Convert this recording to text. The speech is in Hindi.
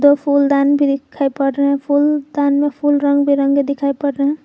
दो फूलदान भी दिखाई पड़ रहे हैं फुलदान में फूल रंग बिरंगे दिखाई पड़ रहे है।